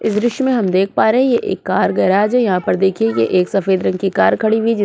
इस दृश्य में हम देख पा रहे हैं ये एक कार गराज है। यहाँ पर देखिए एक सफेद रंग की कार खड़ी हुई जी --